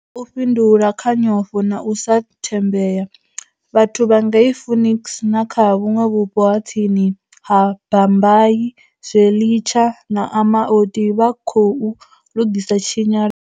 U fhindula kha nyofho na u sa thembea, vhathu vha ngei Phoenix na kha vhuṅwe vhupo ha tsini ha Bhambayi, Zwelitsha na Amaoti vha khou lugisa tshinyalelo.